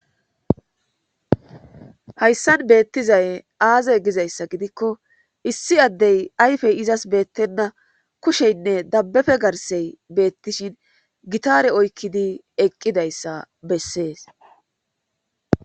Hayssan beettizay aaze gizayssa gidikko issi addey ayfey izas beettenna kusheynne dabbefe garsey beettishin gitare oykkidi eqqidayssa bessees